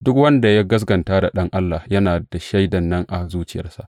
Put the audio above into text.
Duk wanda ya gaskata da Ɗan Allah, yana da shaidan nan a zuciyarsa.